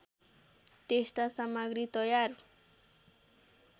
त्यस्ता सामग्री तयार